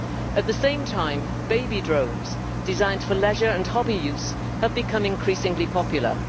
At the same time, baby drones' designed for leisure and hobby use have become increasingly popular.